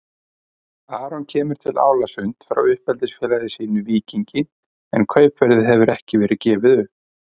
Aron kemur til Álasund frá uppeldisfélagi sínu Víkingi en kaupverðið hefur ekki verið gefið upp.